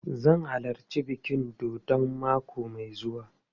Zan halarci bikin dodon mako mai zuwa.